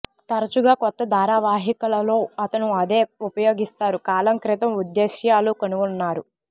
తరచుగా కొత్త ధారావాహికలలో అతను అదే ఉపయోగిస్తారు కాలం క్రితం ఉద్దేశ్యాలు కనుగొన్నారు